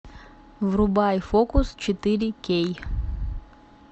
врубай фокус четыре кей